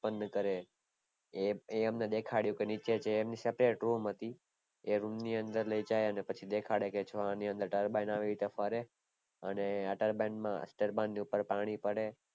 ઉત્પન્ન કરે એ, એ અમને દેખાડ્યું કે નીચે જે separate room હતી એ room ની અંદર લય જાય અને પછી દેખાડે કે જો જો આની અંદર turbine આવી રીતે ફરે અને આ turbine ની ઉપર પાણી પડે